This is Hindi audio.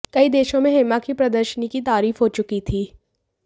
कई देशों में हेमा की प्रदर्शनी की तारीफ हो चुकी थी